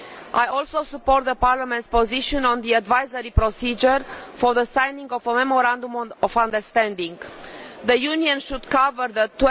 I also support Parliament's position on the advisory procedure for the signing of a memorandum of understanding. The Union should cover the